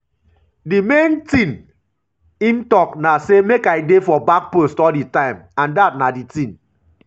di main tin im tok na um say make i dey for back post all di time and dat na di tin